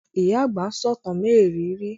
Ìyá àgbà ń sọ̀tàn mériìírí